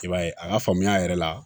I b'a ye a ka faamuya yɛrɛ la